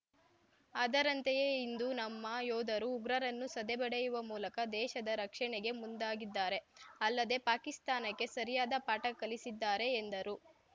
ಅದರಂತೆಯೇ ಇಂದು ನಮ್ಮ ಯೋಧರು ಉಗ್ರರನ್ನು ಸೆದೆಬಡಿಯುವ ಮೂಲಕ ದೇಶದ ರಕ್ಷಣಿಗೆ ಮುಂದಾಗಿದ್ದಾರೆ ಅಲ್ಲದೆ ಪಾಕಿಸ್ತಾನಕ್ಕೆ ಸರಿಯಾದ ಪಾಠ ಕಲಿಸಿದ್ದಾರೆ ಎಂದರು